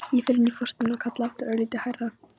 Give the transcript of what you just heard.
Ég fer inn í forstofuna og kalla aftur, örlítið hærra.